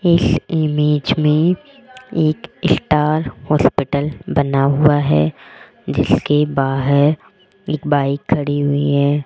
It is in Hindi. इस इमेज में एक स्टार हॉस्पिटल बना हुआ है जिसके बाहर एक बाइक खड़ी हुई है।